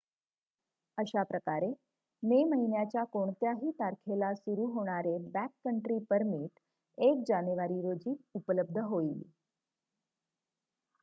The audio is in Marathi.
अशाप्रकारे मे महिन्याच्या कोणत्याही तारखेला सुरू होणारे बॅककंट्री परमिट १ जानेवारी रोजी उपलब्ध होईल